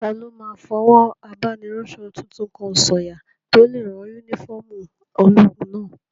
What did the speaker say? Taló máa fọwọ́ abániránsọ tuntun kan sọ̀yà tó lè rán yúnífọ́ọ̀mù ológun náà?